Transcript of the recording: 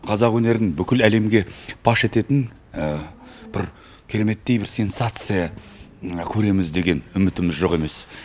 қазақ өнерін бүкіл әлемге паш ететін бір кереметтей бір сенсация көреміз деген үмітіміз жоқ емес